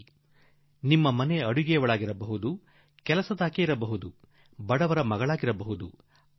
ಅಷ್ಟೇ ಅಲ್ಲ ನಮ್ಮ ಮನೆಯಲ್ಲಿ ಅಡಿಗೆ ಕೆಲಸ ಮಾಡುವಾಕೆ ಇರಬಹುದು ಮನೆ ಗುಡಿಸಿ ಸಾರಿಸುವಾಕೆ ಇರಬಹುದು ಬಡ ತಾಯಿಯ ಮಗಳಿರಬಹುದು